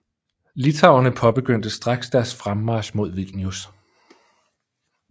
Litauerne påbegyndte straks deres fremmarch mod Vilnius